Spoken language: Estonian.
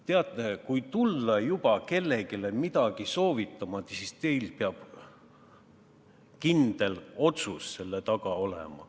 Teate, kui tulla juba kellelegi midagi soovitama, siis teil peab kindel otsus seal taga olema.